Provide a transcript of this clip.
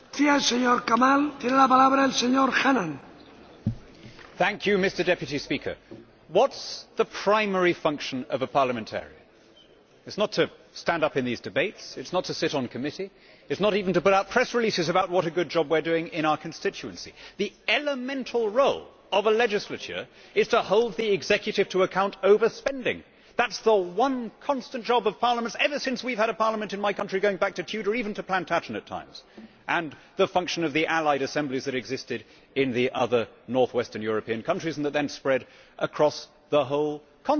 Mr President, what is the primary function of a parliamentarian? It is not to stand up in these debates, it is not to sit on committee, it is not even to put out press releases about what a good job we are doing in our constituency. The elemental role of a legislature is to hold the executive to account over spending. That has been the one constant job of parliaments ever since we have had a parliament in my country, going back to Tudor or even to Plantagenet times, and the function of the allied assemblies that existed in the other north western European countries and that then spread across the whole continent.